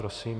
Prosím.